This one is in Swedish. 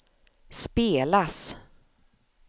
spelas